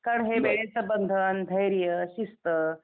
कारण हे वेळेचं बंधन, धैर्य, शिस्त